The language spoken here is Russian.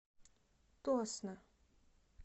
тосно